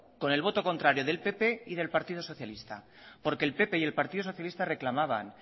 con el voto contrario del pp y del partido socialista porque el pp y el partido socialista reclamaban